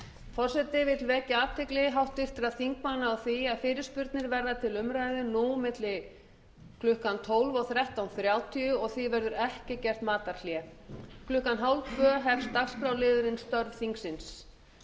forseti vill vekja athygli háttvirtra þingmanna á því að fyrirspurnir verða til umræðu milli klukkan tólf núll núll og þrettán þrjátíu og því verður ekki gert matarhlé klukkan þrettán þrjátíu hefst dagskrárliðurinn störf þingsins